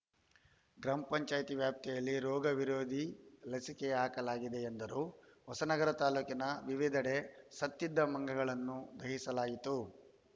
ಗ್ರಾಮ ಪಂಚಾಯಿತಿ ವ್ಯಾಪ್ತಿಯಲ್ಲಿ ರೋಗ ವಿರೋಧಿ ಲಸಿಕೆ ಹಾಕಲಾಗಿದೆ ಎಂದರು ಹೊಸನಗರ ತಾಲೂಕಿನ ವಿವಿಧೆಡೆ ಸತ್ತಿದ್ದ ಮಂಗಗಳನ್ನು ದಹಿಸಲಾಯಿತು